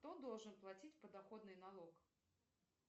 кто должен платить подоходный налог